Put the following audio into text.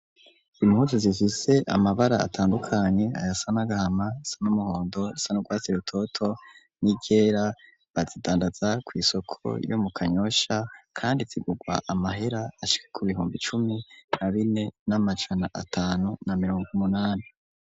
Impunzu zifise amabara atandukanye, ayasa n,agahama ,ayasa n'umuhondo, ayasa n'urwatsi rutoto ni ryera, bazidandaza kw'isoko yo mu Kanyosha ,kandi zigugwa amahera ashika ku bihumbi cumi na bine n'amajana atanu na mirongo umunani.